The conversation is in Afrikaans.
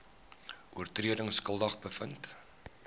oortredings skuldig bevind